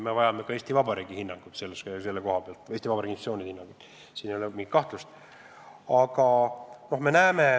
Me vajame Eesti Vabariigi hinnangut selle kohta, Eesti Vabariigi institutsioonide hinnangut – siin ei ole mingit kahtlust.